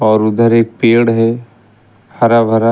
और उधर एक पेड़ है हरा भरा--